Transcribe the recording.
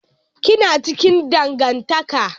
Ki na cikin dangantaka.